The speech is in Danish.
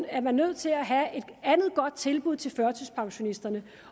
er man nødt til at have et andet godt tilbud til førtidspensionisterne